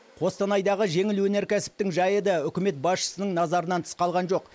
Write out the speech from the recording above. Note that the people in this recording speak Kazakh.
қостанайдағы жеңіл өнеркәсіптің жайы да үкімет басшысының назарынан тыс қалған жоқ